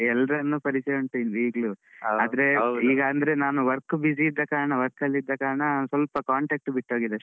ಹಾ ಎಲ್ಲರೂ ಎಲ್ಲರನ್ನು ಪರಿಚಯ ಉಂಟು ಈಗ್ಲ ಆದ್ರೆ ಹೌದು ಈಗ ಅಂದ್ರೆ ನಾನ್ work busyಇದ್ದ ಕಾರಣwork ಅಲ್ಲಿದ್ದ ಕಾರಣ ಸ್ವಲ್ಪcontact ಬಿಟ್ಟು ಹೋಗಿದೆ ಅಷ್ಟೇ.